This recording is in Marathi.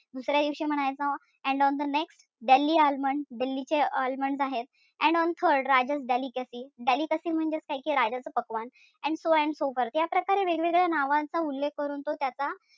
दुसऱ्या दिवशी म्हणायचा and on the next delhi almond दिल्लीचे almond आहेत. And on third rajas delicacy delicacy म्हणजे काय ठीकेय राजाच पक्वान्न. And so on so या प्रकारे वेगवेगळ्या नावांचा उल्लेख करून तो त्याचा,